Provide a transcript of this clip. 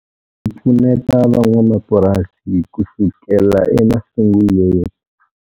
Hi pfuneta van'wamapurasi kusukela emasungulweni.